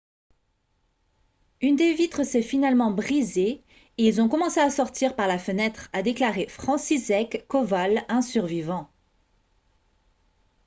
« une des vitres s'est finalement brisée et ils ont commencé à sortir par la fenêtre » a déclaré franciszek kowal un survivant